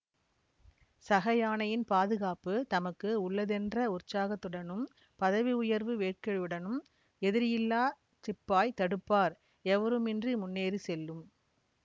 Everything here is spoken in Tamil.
சக யானையின் பாதுகாப்பு தமக்கு உள்ளதென்ற உற்சாகத்துடனும் பதவி உயர்வு வேட்கையுடனும் எதிரியில்லா சிப்பாய் தடுப்பார் எவருமின்றி முன்னேறி செல்லும்